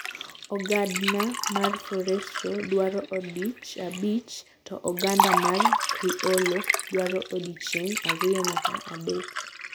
Ogadna mar Forestro dwaro odichng abich to oganda mar Criollo dwaro odicheng ariyo nyaka adaek.